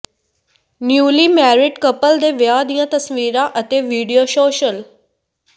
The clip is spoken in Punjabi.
ਨਿਊਲੀਮੈਰਿਡ ਕਪਲ ਦੇ ਵਿਆਹ ਦੀਆਂ ਤਸਵੀਰਾਂ ਅਤੇ ਵੀਡੀਓ ਸੋਸ਼ਲ